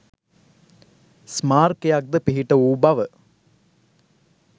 ස්මාරකයක් ද පිහිට වූ බව